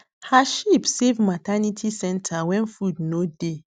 her sheep save maternity centre when food no dey